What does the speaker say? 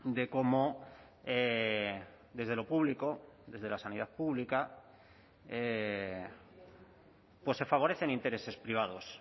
de cómo desde lo público desde la sanidad pública pues se favorecen intereses privados